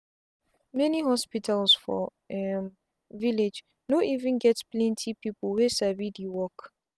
many hospitals for um village no even get plenty people wey sabi the work.